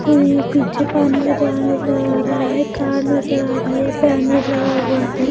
और यहाँ पीछे पानी का जहाज नजर आ रहा है कार नजर आ रही है पैनर लगा हुआ है।